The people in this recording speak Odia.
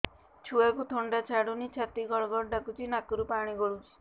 ଛୁଆକୁ ଥଣ୍ଡା ଛାଡୁନି ଛାତି ଗଡ୍ ଗଡ୍ ଡାକୁଚି ନାକରୁ ପାଣି ଗଳୁଚି